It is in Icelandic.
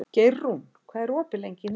Geirrún, hvað er opið lengi í Nettó?